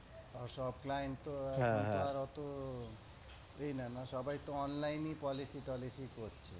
তাও সব client তো ওরকম তো অতো এ না না। সবাই তো online ই policy তলিসি করছে।